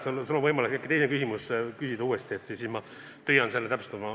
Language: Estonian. Sul on võimalik äkki teine küsimus ka küsida ja siis ma püüan vastata.